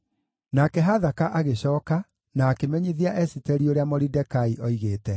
Nake Hathaka agĩcooka, na akĩmenyithia Esiteri ũrĩa Moridekai oigĩte.